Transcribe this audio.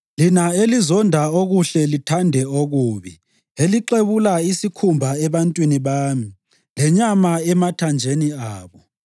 lina elizonda okuhle lithande okubi; elixebula isikhumba ebantwini bami lenyama emathanjeni abo;